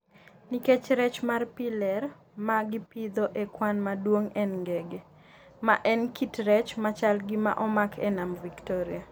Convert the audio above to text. nikech rech mar pi ler ma gipidho e kwan maduong' en ngege - ma en kit rech machal gi ma omaki e nam Victoria.